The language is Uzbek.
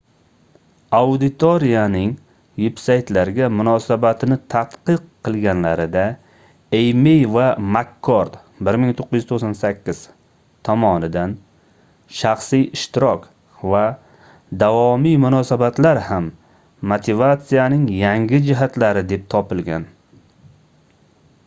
auditoriyaning vebsaytlarga munosabatini tadqiq qilganlarida eymey va mak-kord 1998 tomonidan shaxsiy ishtirok va davomiy munosabatlar ham motivatsiyaning yangi jihatlari deb topilgan